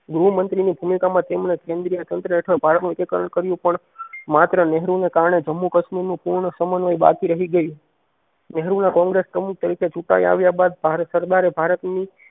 ગૃહ મંત્રી ની ભૂમિકા માં તેમણે કેન્દ્રીય તંત્ર હેઠળ ભારત નું એકીકરણ કર્યું પણ માત્ર નહેરુ ને કારણે જમ્મુ કશ્મીર પૂર્ણ સમનવય બાકી રહી ગયું. નહેરુ ના કોંગ્રેસ પ્રમુખ તરીકે ચૂંટાય આવ્યા બાદ ભારત સરદારે ભારત ની.